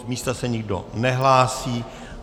Z místa se nikdo nehlásí.